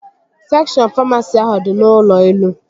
Sekshọn famasi ahụ dị n'ụlọ elu